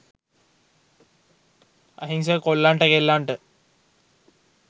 අහිංසක කොල්ලන්ට කෙල්ලන්ට